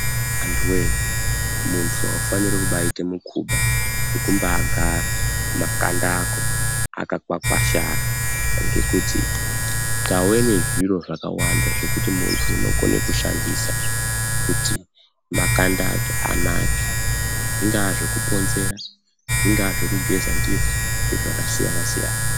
Anhuwe! munhu aufaniri kubaaite mukuba wekumba agara makanda ako akakwakwashara ngekuti tawenezviro zvakawanda zvekuti muntu unokone kushandisa kuti makanda ake anake zvingave zvekuponzera zvingaa zvekugeza ndizvo nezvakasiyanasi.